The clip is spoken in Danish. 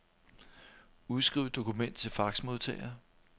Udskriv dokument til faxmodtager.